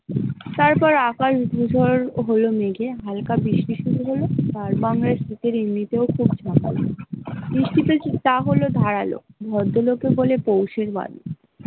তারপর আকাশ হোল মেঘে হালকা আর বৃষ্টি শুরু হোল খুব ধারালো ভদ্রলোকে বলে পৌষের ।